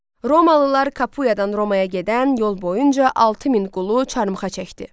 Romalılar Kapuyadan Romaya gedən yol boyunca 6000 qulu çarmıxa çəkdi.